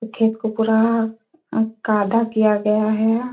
खेत को पूरा अकादा किया गया हैं।